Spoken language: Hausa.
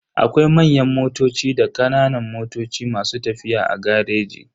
Akwai manyan motoci da kananan motoci masu tafiya a gareji.